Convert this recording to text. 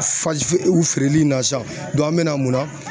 u feereli in na sisan an be na mun na